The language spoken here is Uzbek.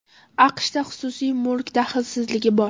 AQShda xususiy mulk daxlsizligi bor!